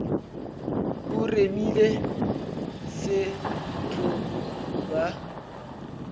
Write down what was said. o remile se tlo ba